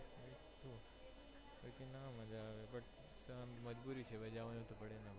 મજ્જા આવે મજબૂરી છે ભાઈ જવાનું તો પડેજ ને